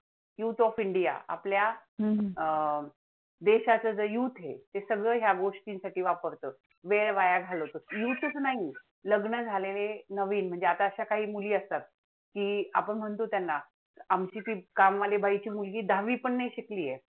वेळ वाया घालवतो youth च नाही, लग्न झालेले नवीन म्हणजे आता अशा कांही मुली असतात, की आपण म्हणतो त्यांना आमची ती कामवाली बाईची मुलगी दहावी पण नाही शिकली आहे.